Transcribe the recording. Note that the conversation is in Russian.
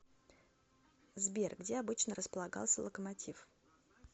сбер где обычно располагался локомотив